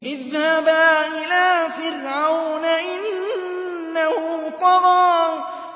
اذْهَبَا إِلَىٰ فِرْعَوْنَ إِنَّهُ طَغَىٰ